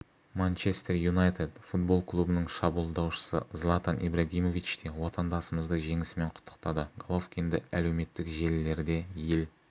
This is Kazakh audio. манчестер юнайтед футбол клубының шабуылдаушысы златан ибрагимович те отандасымызды жеңісімен құттықтады головкинді әлеуметтік желілерде ел